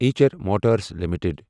ایچر Motors limited